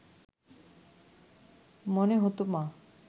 মনে হতো না